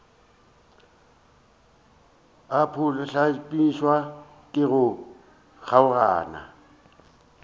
a phuhlamišwa ke go kgaogana